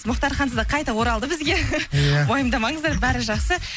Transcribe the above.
мұхтар ханзада қайта оралды бізге уайымдамаңыздар бәрі жақсы